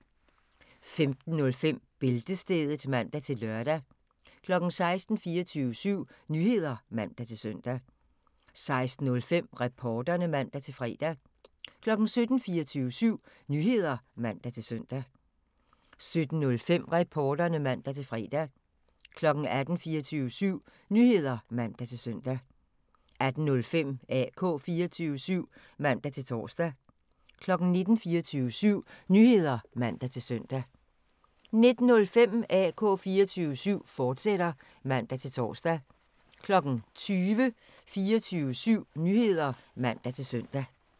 15:05: Bæltestedet (man-lør) 16:00: 24syv Nyheder (man-søn) 16:05: Reporterne (man-fre) 17:00: 24syv Nyheder (man-søn) 17:05: Reporterne (man-fre) 18:00: 24syv Nyheder (man-søn) 18:05: AK 24syv (man-tor) 19:00: 24syv Nyheder (man-søn) 19:05: AK 24syv, fortsat (man-tor) 20:00: 24syv Nyheder (man-søn)